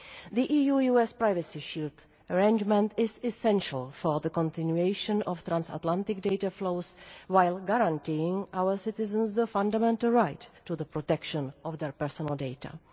The EU US Privacy Shield arrangement is essential for the continuation of transatlantic data flows while guaranteeing our citizens the fundamental right to the protection of their personal data.